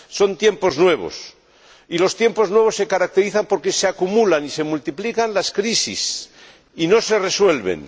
son tiempos nuevos, y los tiempos nuevos se caracterizan porque se acumulan y se multiplican las crisis y no se resuelven.